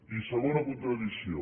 i segona contradicció